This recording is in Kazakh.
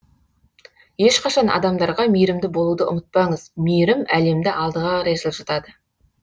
ешқашан адамдарға мейірімді болуды ұмытпаңыз мейірім әлемді алдыға қарай жылжытады